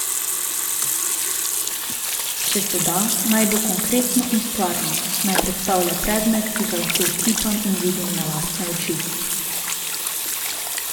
Če se da, naj bo konkretno in stvarno, naj predstavlja predmet, ki ga lahko otipam in vidim na lastne oči.